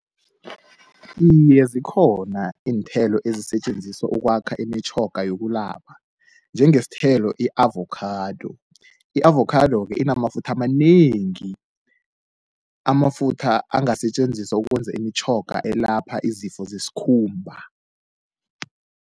Iye, zikhona iinthelo ezisetjenziswa ukwakha imitjhoga yokulapha njengesithelo i-avokhado. I-avokhado-ke inamafutha amanengi, amafutha angasetjenziswa ukwenza imitjhoga elapha izifo zesikhumba.